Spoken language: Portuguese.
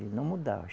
Ele não mudava.